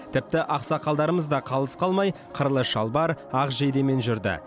тіпті ақсақалдарымыз да қалыс қалмай қырлы шалбар ақ жейдемен жүрді